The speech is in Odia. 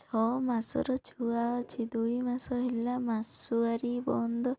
ଛଅ ମାସର ଛୁଆ ଅଛି ଦୁଇ ମାସ ହେଲା ମାସୁଆରି ବନ୍ଦ